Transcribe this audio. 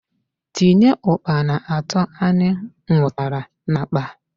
Tinye Ukpana ato anyị nwụtara n'akpa!